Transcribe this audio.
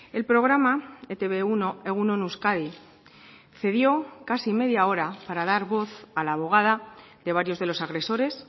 el programa e te be uno egun on euskadi cedió casi media hora para dar voz a la abogada de varios de los agresores